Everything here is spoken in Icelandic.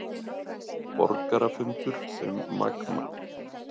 Borgarafundur um Magma